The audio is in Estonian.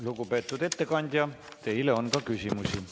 Lugupeetud ettekandja, teile on ka küsimusi.